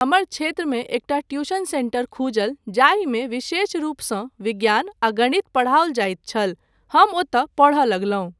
हमर क्षेत्रमे एकटा ट्यूशन सेंटर खुजल जाहिमे विशेषरूपसँ विज्ञान आ गणित पढ़ाओल जाइत छल, हम ओतय पढ़य लगलहुँ।